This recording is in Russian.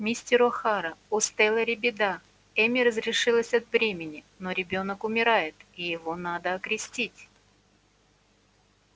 мистер охара у стелэри беда эмми разрешилась от бремени но ребёнок умирает и его надо окрестить